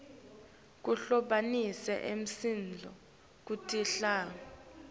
kuhlobanisa imisindvo kutinhlavu